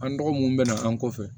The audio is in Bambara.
An dɔgɔ mun bɛ na an kɔfɛ